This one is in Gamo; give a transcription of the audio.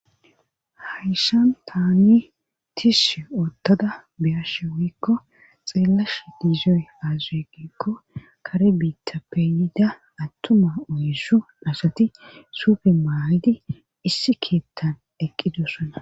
Hayshan taani tishi oottada beyashe woikko xeelash diizoy aazuuegikko kare biitta peeyida attuma oyysu nashati suufe maayidi issi keettan eqqidosana.